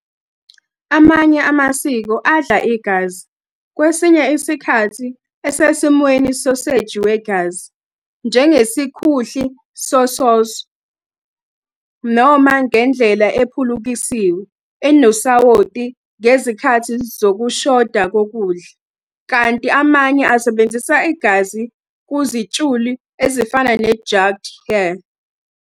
Amanye amasiko adla igazi, kwesinye isikhathi esesimweni soseji wegazi, njengesikhuhli sososo, noma ngendlela ephulukisiwe, enosawoti ngezikhathi zokushoda kokudla, kanti amanye asebenzisa igazi kuzitshulu ezifana ne- jugged hare.